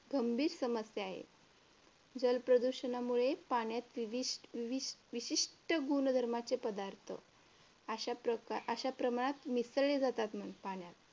गंभीर समस्या आहे. जलप्रदूषणामुळे पाण्यात विवि वि विशिष्ट गुणधर्माचे पदार्थ अशा प्रमाणात मिसळले जातात मग पाण्यात